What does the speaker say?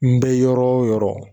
N bɛ yɔrɔ o yɔrɔ.